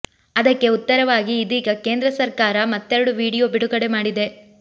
ಅದಕ್ಕೆ ಉತ್ತರವಾಗಿ ಇದೀಗ ಕೇಂದ್ರ ಸರ್ಕಾರ ಮತ್ತೆರಡು ವೀಡಿಯೋ ಬಿಡುಗಡೆ ಮಾಡಿದೆ